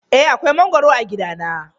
Eh akwai mangwaro a gidana.